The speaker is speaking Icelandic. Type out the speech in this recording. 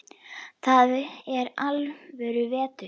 Þar er alvöru vetur.